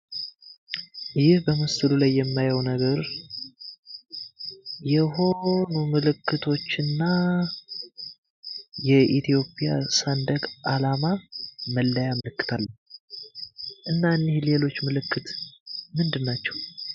ይህ በምስሉ ላይ የማየው ነገር የሆኑ ምልክቶችና የኢትዮጵያ ሰንደቅ ዓላማ መለያ ምልክት አለ። እና ሌሎች ምልክት ምንድን ናቸው?